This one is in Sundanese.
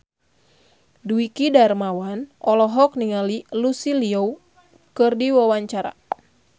Dwiki Darmawan olohok ningali Lucy Liu keur diwawancara